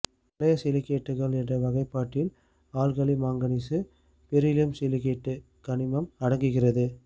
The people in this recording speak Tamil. வளைய சிலிக்கேட்டுகள் என்ற வகைபாட்டில் ஆல்கலி மாங்கனீசு பெரிலியம் சிலிக்கேட்டு கனிமம் அடங்குகிறது